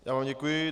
Já vám děkuji.